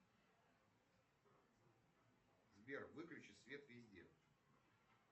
сбер выключи свет везде